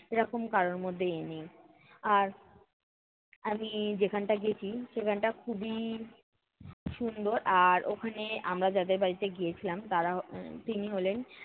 এরকম কারোর মধ্যেই নেই। আর আমি যেখানটা গেছি সেখানটা খুবই সুন্দর। আর ওখানে আমরা যাদের বাড়িতে গিয়েছিলাম, তারা এর তিনি হলেন